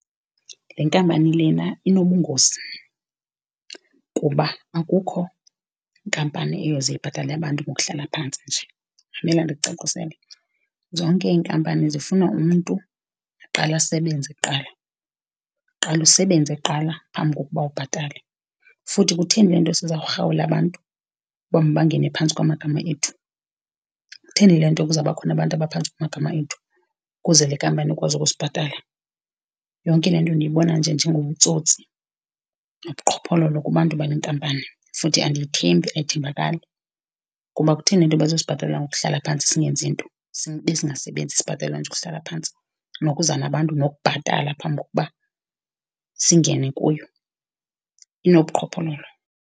Le nkampani lena inobungozi, kuba akukho nkampani eyoze ibhatale abantu ngokuhlala phantsi nje. Mamela ndikucacisele, zonke iinkampani zifuna umntu aqale asebenze kuqala, uqale usebenze kuqala phambi kokuba ubhatalwe. Futhi kutheni le nto sizawurhawula abantu ukuba mabangene phantsi kwamagama ethu? Kutheni le nto kuzabakhona abantu abaphantsi kwamagama ethu ukuze le nkampani ikwazi ukusibhatala? Yonke le nto ndiyibona nje njengobutsotsi nobuqhophololo kubantu bale nkampani, futhi andiyithembi, ayithembakali. Kuba kutheni le nto bezosibhatala ngokuhlala phantsi singenzi nto, sibe singasebenzi? Sibhatalelwa nje ukuhlala phantsi nokuza nabantu nokubhatala phambi kokuba singene kuyo, inobuqhophololo.